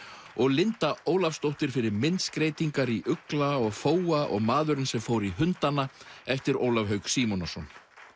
og Linda Ólafsdóttir fyrir myndskreytingar í ugla og og maðurinn sem fór í hundana eftir Ólaf Hauk Símonarson